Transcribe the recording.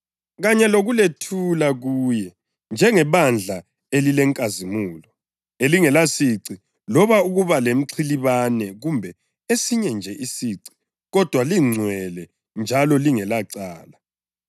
kanye lokulethula kuye njengebandla elilenkazimulo, elingelasici loba ukuba mxhilibane kumbe esinye nje isici kodwa lingcwele njalo lingelacala.